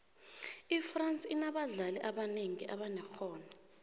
ifrance inabadlali abanengi abanexhono